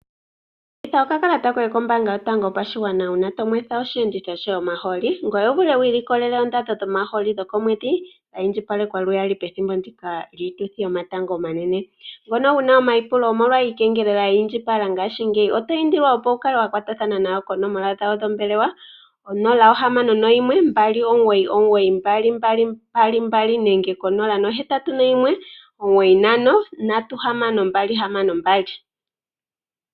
Kutha okakalata koye kombaanga yotango yopashigwana uuna to nwetha osheenditho shoye omahooli, ngoye wu vule wu ilikolele oondando dhomahooli dhokomwedhi dha indjipalekwa lwaali pethimbo ndika lyiituthi yomatango omanene. Ngono wu na omaipulo omolwa iikengelela ya indjipala ngashingeyi oto indilwa opo wu kale wa kwatathana nawo konomola yawo yombelewa 061 299 2222 nenge 0819536262.